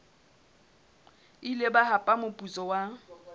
ile ba hapa moputso wa